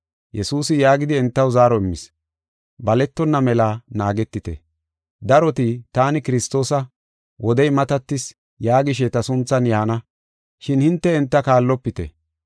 Yesuusi yaagidi entaw zaaro immis: “Baletonna mela naagetite. Daroti, ‘Taani Kiristoosa, wodey matatis’ yaagishe ta sunthan yaana, shin hinte enta kaallopite.